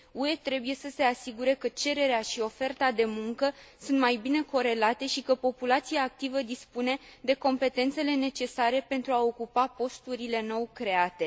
UE trebuie să se asigure că cererea și oferta de muncă sunt mai bine corelate și că populația activă dispune de competențele necesare pentru a ocupa posturile nou create.